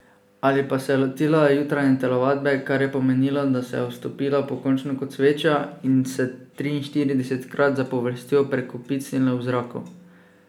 Ali pa se je lotila jutranje telovadbe, kar je pomenilo, da se je ustopila pokončno kot sveča in se triinštiridesetkrat zapovrstjo prekopicnila v zraku.